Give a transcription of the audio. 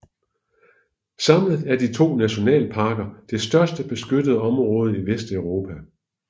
Samlet er de to nationalparker det største beskyttede område i Vesteuropa